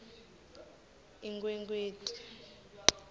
inkhwekhweti